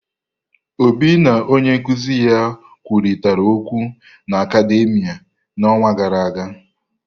Obi na onye nkuzi ya kwurịta okwụ na akademìa n'ọnwa gara aga.